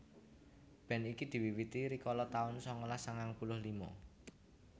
Band iki diwiwiti rikala taun sangalas sangang puluh lima